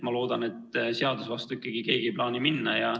Ma loodan, et seaduse vastu siiski keegi ei plaani minna.